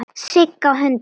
Sigg á höndum.